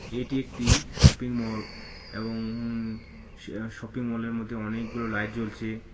এটি একটি শপিংমল এবং উম শ-শপিং মলের মধ্যে অনেকগুলো লাইট জ্বলছে .